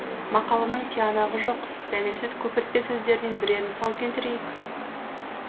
мақаланың тиянағы жоқ дәлелсіз көпіртпе сөздерінен бірер мысал келтірейік